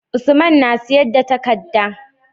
Usman na siyar da takadda